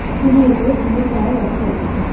স্কুলটির উপরে টিনের চাল দেখা যাচ্ছে।